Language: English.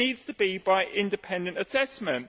It needs to be by independent assessment.